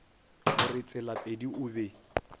go re tselapedi o be